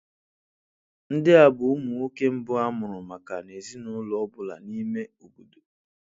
Ndị a bụ ụmụ nwoke mbụ a mụrụ maka ezinụlọ ọ bụla n'ime obodo